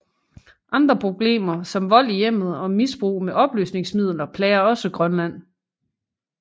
Andre problemer som vold i hjemmet og misbrug med opløsningsmidler plager også Grønland